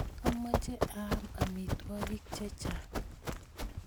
amoche aam amitwokik chechang